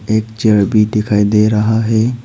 एक चेयर भी दिखाई दे रहा है।